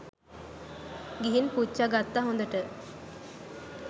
ගිහින් පුච්ච ගත්ත හොදට